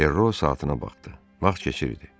Ferro saatına baxdı, vaxt keçirdi.